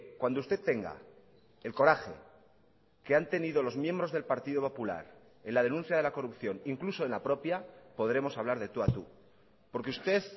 cuando usted tenga el coraje que han tenido los miembros del partido popular en la denuncia de la corrupción incluso en la propia podremos hablar de tú a tú porque usted